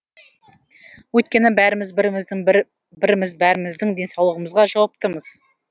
өйткені бәріміз біріміздің біріміз бәріміздің денсаулығымызға жауаптымыз